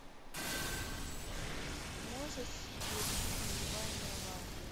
можешь включить нулевая мировая